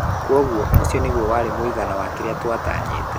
Kwoguo ũcio nĩguo warĩ mũigana wa kĩrĩa twatanyĩtĩ.